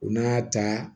U n'a ta